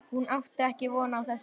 Hún átti ekki von á þessu.